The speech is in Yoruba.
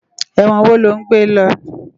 Èwòn wó lò n gbé lò?